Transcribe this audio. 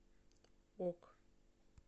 ок